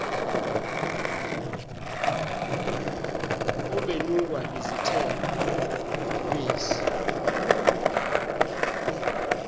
obenukwa izithende yibhubesi